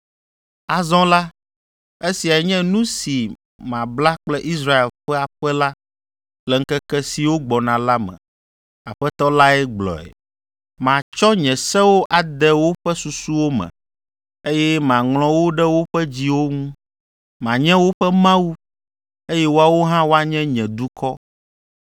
Azɔ la esiae nye nu si mabla kple Israel ƒe aƒe la, le ŋkeke siwo gbɔna la me. Aƒetɔ lae gblɔe. Matsɔ nye sewo ade woƒe susuwo me, eye maŋlɔ wo ɖe woƒe dziwo ŋu. Manye woƒe Mawu, eye woawo hã woanye nye dukɔ.